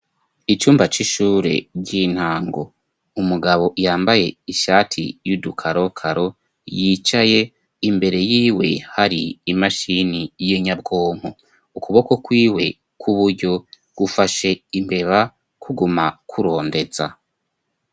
Icumba c'ishure ry'intango umugabo yambaye ishati y'udukarokaro yicaye imbere yiwe hari imashini y'inyabwonko ukuboko kwiwe k'uburyo gufashe imbeba kuguma kurondeza.